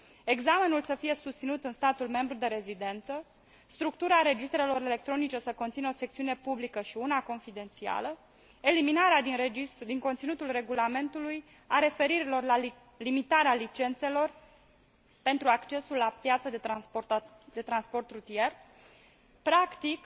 examenul să fie susținut în statul membru de rezidență, structura registrelor electronice să conțină o secțiune publică și una confidențială, eliminarea din conținutul regulamentului a referirilor la limitarea licențelor pentru accesul la piața de transport rutier, practic,